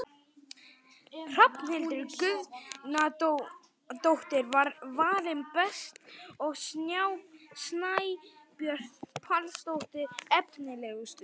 Hrafnhildur Guðnadóttir var valin best og Snæbjört Pálsdóttir efnilegust.